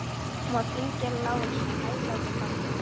Hún var fíngerð og lágvaxin og hæglát og framhleypin.